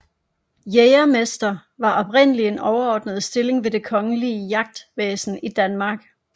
Jægermester var oprindelig en overordnet stilling ved det kongelige jagtvæsen i Danmark